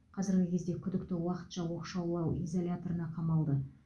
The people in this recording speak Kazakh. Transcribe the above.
қазіргі кезде күдікті уақытша оқшаулау изоляторына қамалды